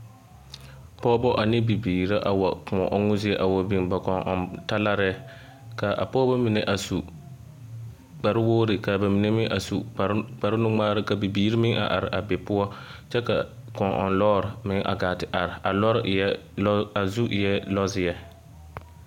Pɔgebɔ ane bibiiri la wa kõɔ ɔmmo zie a wa biŋ ba kɔŋ-ɔŋ talarɛɛ ka a pɔgebɔ mine a su kpare wogiri ka ba mine a su kpare nu-ŋmaara ka bibiiri meŋ a are a be poɔ kyɛ ka kɔŋ-ɔŋ lɔɔre meŋ gaa te are a lɔre eɛ a zu eɛ lɔzeɛ.